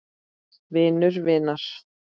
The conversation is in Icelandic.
Vinur vinar?